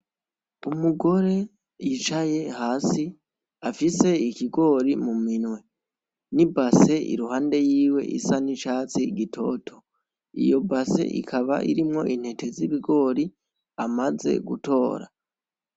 Umugore yicaye hasi afise ikigori muminwe n'ibase iruhande yiwe isa n'icatsi gitoto ,iyo base ikaba irimwo Ibigori amaze gutora.